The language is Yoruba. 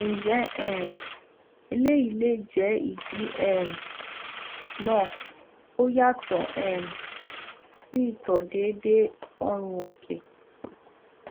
nje um eleyi le je idi um na oyato um si ito deede oorun oke